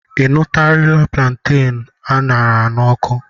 Ị nụtụlarị plantain a ṅara n'ọkụ?